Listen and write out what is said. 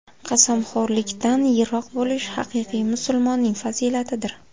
Qasamxo‘rlikdan yiroq bo‘lish haqiqiy musulmonning fazilatidir.